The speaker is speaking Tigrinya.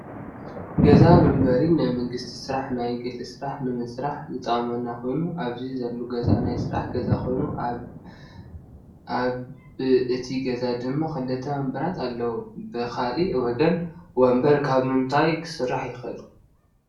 ገዛ መንበሪን ናይ መንግስቲ ስራሕ ናይ ግሊ ስራሕ ንምስራሕ ዝጠቅመና ኮይኑ ኣብዚ ዘሎ ገዛ ናይ ስራሕ ገዛ ኮይኑ ኣብ ቢ እቲ ገዛ ድማ ክልተ ወንበራት ኣለው። ብካሊእ ወገን ወንበር ካብ ምንታይ ክስራሕ ይክእል?